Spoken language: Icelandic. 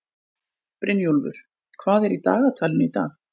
Brynjúlfur, hvað er í dagatalinu í dag?